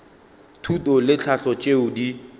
thuto le tlhahlo tšeo di